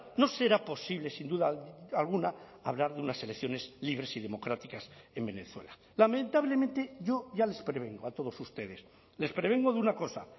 no será posible sin duda alguna hablar de unas elecciones libres y democráticas en venezuela lamentablemente yo ya les prevengo a todos ustedes les prevengo de una cosa